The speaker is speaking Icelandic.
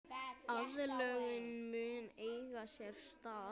Aðlögun mun eiga sér stað.